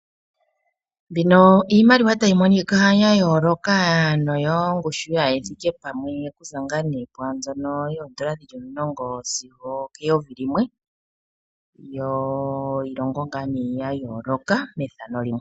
Mbino iimaliwa tayi monika ya yooloka, ano yongushu kayi thike pamwe okuza, okuza poondola omulongo sigo okeyovi limwe, yiilongo ya yooloka, methano limwe.